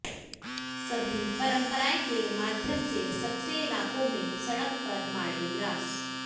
सभी परंपराएं के माध्यम से सबसे इलाकों में सड़क पर मार्डी ग्रास